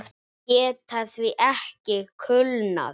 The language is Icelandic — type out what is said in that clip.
Þær geta því ekki kulnað.